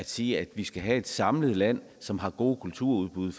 sige at vi skal have et samlet land som har gode kulturudbud